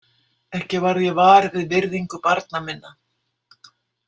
Ekki varð ég var við virðingu barna minna.